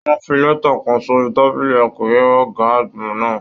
Wọn fí lẹta kàn sórí tábìlì akọwe ọgá àgbà náà.